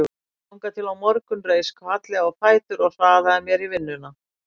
Þangað til á morgun reis hvatlega á fætur og hraðaði mér í vinnuna.